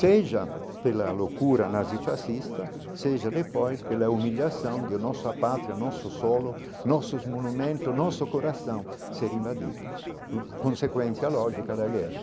Seja pela loucura nazifascista, seja depois pela humilhação de nossa pátria, nosso solo, nossos monumentos, nosso coração ser invadido, consequência lógica da guerra.